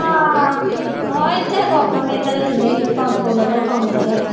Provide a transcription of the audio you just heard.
ਹਮ ਇਥੇ ਕੁੱਖ ਵੀ ਨੀ ਇਥੇ ਤਾ ਦਿੰਦੇ ਸੀ ਪਾਨ ਸੋ ਲੇਲੋ ਕਾਮ ਦਾ ਤੇ